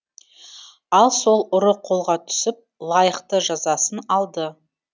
ал сол ұры қолға түсіп лайықты жазасын алды